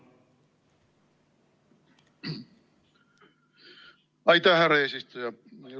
Aitäh, härra eesistuja!